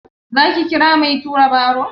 Za ki kira mai tura baro?